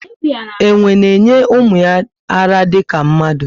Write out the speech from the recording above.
Enwe na enye ụmụ ya ara dika mmadụ